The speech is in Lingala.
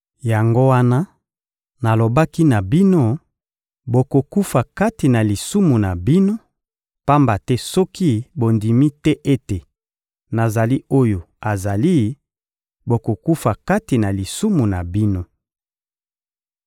Yango wana nalobaki na bino: «Bokokufa kati na lisumu na bino;» pamba te soki bondimi te ete «Nazali oyo azali,» bokokufa kati na lisumu na bino.